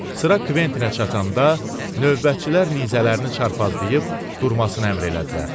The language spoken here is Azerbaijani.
Sıra Kventinə çatanda, növbətçilər nizələrini çarpazlayıb durmasını əmr elədilər.